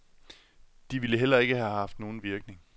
De ville heller ikke have haft nogen virkning.